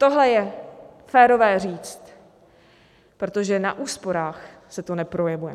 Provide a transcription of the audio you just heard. Tohle je férové říct, protože na úsporách se to neprojevuje.